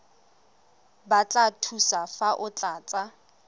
batla thuso fa o tlatsa